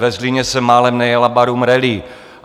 Ve Zlíně se málem nejela Barum Rally.